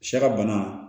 Sɛ ka bana